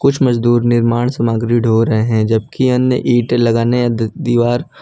कुछ मजदूर निर्माण सामग्री ढ़ो रहे हैं जबकि अन्य ईट लगाने द दीवार--